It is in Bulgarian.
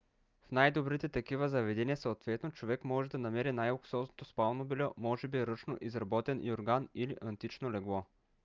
в най-добрите такива заведения съответно човек може да намери най-луксозното спално бельо може би ръчно изработен юрган или антично легло